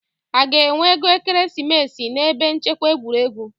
A ga-enwe ego ekeresimesi n'ebe nchekwa egwuregwu?